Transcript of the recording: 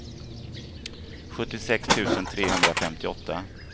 sjuttiosex tusen trehundrafemtioåtta